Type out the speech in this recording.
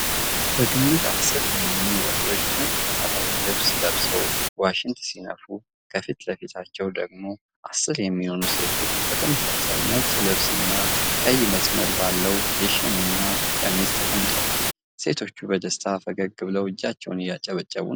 በግምት አስር የሚሆኑ ወንዶች ነጭ ባህላዊ ልብስ ለብሰው ዋሽንት ሲነፉ ከፊት ለፊታቸው ደግሞ አስር የሚሆኑ ሴቶች በተመሳሳይ ነጭ ልብስና ቀይ መስመር ባለው የሽመና ቀሚስ ተቀምጠዋል። ሴቶቹ በደስታ ፈገግ ብለው እጃቸውን እያጨበጨቡ ነው።